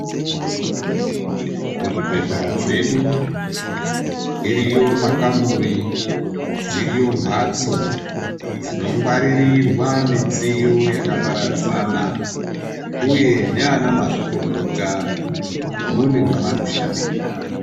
Muzvibhedhlera zvedu ,iriyo makamuri , dziriyo mphatso dzinongwaririrwa midziyo yakaparadzana, uye neanamazvikokota ,mune mwavanoshandira.